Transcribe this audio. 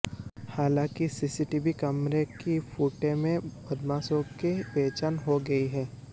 हालांकि सीसीटीवी कैमरे की फुटे में बदमाशों की पहचान हो गई है